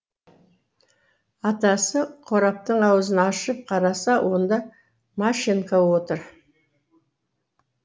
атасы қораптың аузын ашып қараса онда машенька отыр